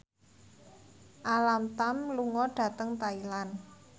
Alam Tam lunga dhateng Thailand